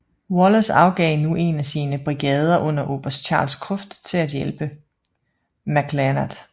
Wallace afgav nu en af sine brigader under oberst Charles Cruft til at hjælpe McClernand